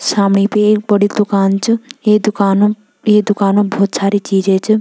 सामने पे एक बड़ी दूकान च ये दूकान म ये दूकान म भोत सारी चीजे च।